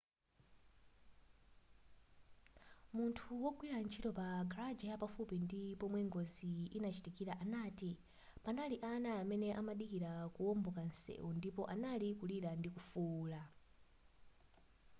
munthu wogwira ntchito pa garaja yapafupi ndi pomwe ngozi inachitikila anati panali ana amene amadikila kuomboka nseu ndipo anali kulira ndikufuula